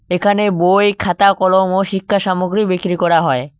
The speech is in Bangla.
এখানে বই খাতা কলম ও শিক্ষা সামগ্রী বিক্রি করা হয়।